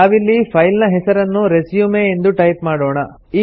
ನಾವಿಲ್ಲಿ ಫೈಲ್ ನ ಹೆಸರನ್ನು ರೆಸ್ಯೂಮ್ ಎಂದು ಟೈಪ್ ಮಾಡೋಣ